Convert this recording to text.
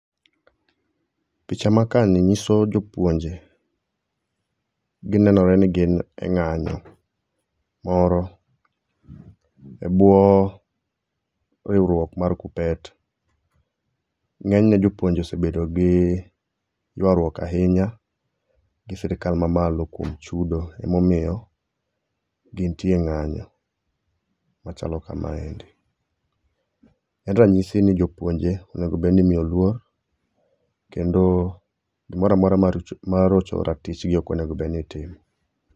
Picha makaa ni nyiso jopuonje, ginenore ni gin e ng'anyo moro ebwo riwruok mar KUPPET. Ng'eny ne jopuonje osebedo gi yuaruok ahinya gi sirkal mamalo kuom chudo emomiyo gintie e ng'anyo machalo kamaendi. En ranyisi ni jopuonje onego bed ni imiyo luor, kendo gimoro amora mar rocho ratichgi ok onego bed ni itimo.